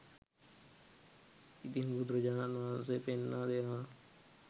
ඉතින් බුදුරජාණන් වහන්සේ පෙන්වා දෙනවා